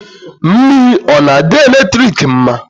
Mmiri ọ na-adị eletrik mma?